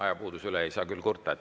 Ajapuuduse üle ei saa küll kurta.